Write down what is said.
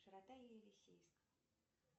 широта елисейск